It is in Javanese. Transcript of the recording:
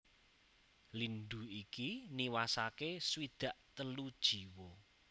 Lindhu iki niwasaké swidak telu jiwa